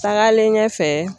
Taagalen ɲɛfɛ.